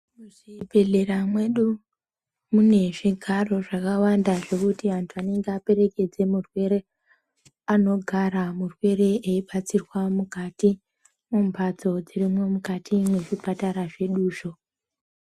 Muzvibhedhlera mwedu mune zvigaro zvakawanda zvekuti anthu anenge aperekedze murwere anogara murwere eibatsirwa mukati mbatso dzirimwo mukati mwezvipatara zveduzvo.